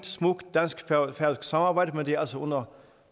smukt dansk færøsk samarbejde men det er altså under